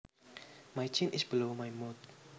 My chin is below my mouth